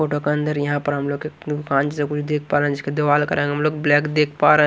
photo के अंदर यहां पर हम लोग जैसा कुछ देख पा रहे है जिसके दीवाल का रंग हम लोग ब्लैक देख पा र--